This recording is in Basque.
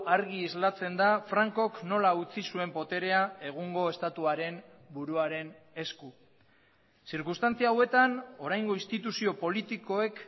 argi islatzen da frankok nola utzi zuen boterea egungo estatuaren buruaren esku zirkunstantzia hauetan oraingo instituzio politikoek